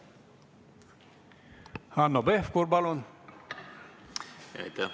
Hanno Pevkur, palun!